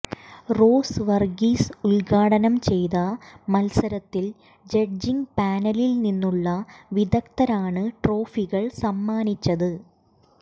rose Varghese ഉദ്ഘാടനം ചെയ്ത മത്സരത്തിൽ ജഡ്ജിങ് പാനലിൽ നിന്നുള്ള വിദഗ്ധരാണ് ട്രോഫികൾ സമ്മാനിച്ചത്